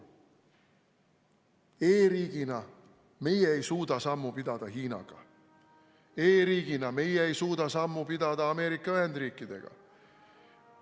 E-riigina meie ei suuda sammu pidada Hiinaga, e-riigina meie ei suuda sammu pidada Ameerika Ühendriikidega.